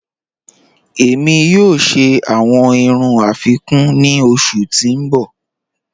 Ẹ̀mi yọọ̀ ṣẹ awọn irùn afikún ni ọṣù ti n bọ́.